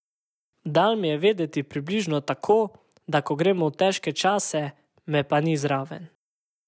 Dal mi je vedeti približno tako, da ko gremo v težke čase, me pa ni zraven.